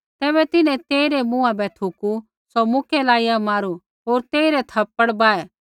तैबै तिन्हैं तेइरै मुँहा बै थुकू सौ मुक्कै लाइया मारू होर तेइरै थप्पड़ बाहै